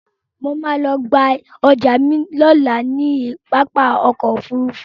Mo ma lọ gba ọjà mi lọ́la ní pápá ọkọ̀ Òfurufú